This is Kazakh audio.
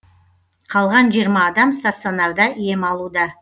қалған жиырма адам стационарда ем алуда